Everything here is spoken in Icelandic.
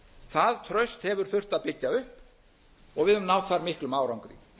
það traust hefur þurft að byggja upp og við höfum náð þar miklum árangri